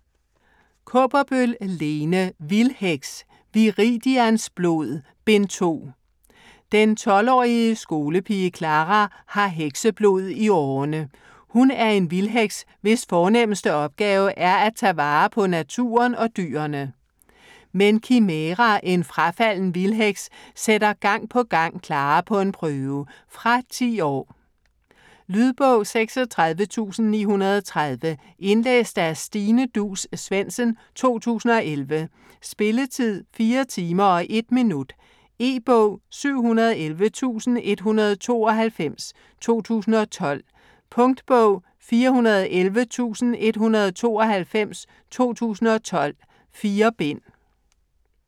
Kaaberbøl, Lene: Vildheks: Viridians blod: Bind 2 Den 12-årige skolepige Clara har hekseblod i årerne. Hun er en vildheks hvis fornemmeste opgave er at tage vare på naturen og dyrene. Men Kimæra, en frafalden vildheks, sætter gang på gang Clara på en prøve. Fra 10 år. Lydbog 36930 Indlæst af Stine Duus Svendsen, 2011. Spilletid: 4 timer, 1 minutter. E-bog 711192 2012. Punktbog 411192 2012. 4 bind.